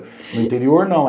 No interior, não.